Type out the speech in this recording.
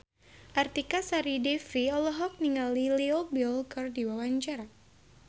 Artika Sari Devi olohok ningali Leo Bill keur diwawancara